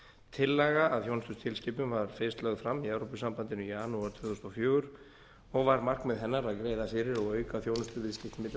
tillaga að þjónustutilskipun var fyrst lögð fram í evrópusambandinu í janúar tvö þúsund og fjögur og var markmið hennar að greiða fyrir og auka þjónustuviðskipti milli